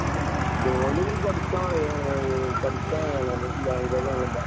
ജോലി പഠിക്കാൻ കഴിയും, പഠിക്കുകയാണ് വേണ്ടത് ലാംഗ്വേജ് ഒന്നുമല്ല.